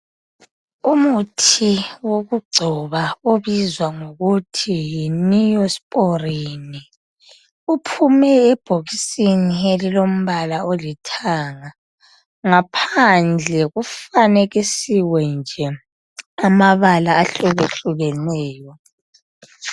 Umuthi wokugcoba obizwa ngokuthi yi"Neosporin" uohume ebhokisini elilombala olithanga. Ngaphandle kufanekisiwe nje amabala ahlukehlukeneyo .